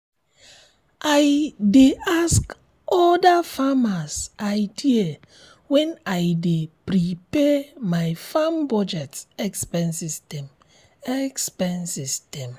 i dey ask other farmers idea when i dey prepare my farm budget expenses dem expenses dem